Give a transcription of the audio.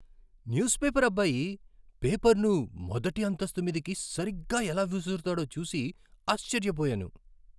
News paper అబ్బాయి పేపర్ను మొదటి అంతస్తు మీదికి సరిగ్గా ఎలా విసురుతాడో చూసి ఆశ్చర్యపోయాను.